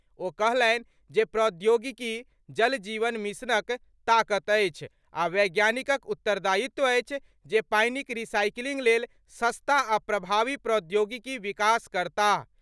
ओ कहलनि, जे प्रौद्योगिकी जल जीवन मिशनक ताकत अछि आ वैज्ञानिकक उत्तरदायित्व अछि, जे पानिक रिसाइक्लिंग लेल सस्ता आ प्रभावी प्रौद्योगिकीक विकास करताह।